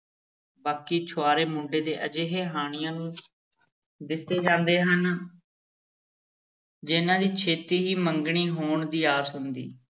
ਬਾਕੀ ਛੁਹਾਰੇ ਮੁੰਡੇ ਦੇ ਅਜਿਹੇ ਹਾਣੀਆਂ ਨੂੰ ਦਿੱਤੇ ਜਾਂਦੇ ਹਨ ਜਿਨ੍ਹਾਂ ਦੀ ਛੇਤੀ ਹੀ ਮੰਗਣੀ ਹੋਣ ਦੀ ਆਸ ਹੁੰਦੀ।